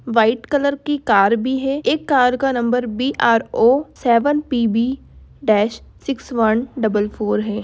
White colour की car भी है एक कार का number B R O seven P B dash sixth one double four हैं।